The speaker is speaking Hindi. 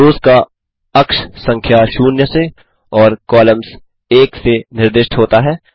रोस का अक्ष संख्या 0 से और कॉलम्स 1 से निर्दिष्ट होता है